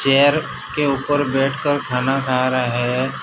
Chair के ऊपर बैठकर खाना खा रहे है।